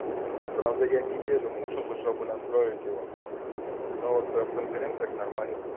правда я неделю мучался чтобы настроить его но вот в конференциях нормально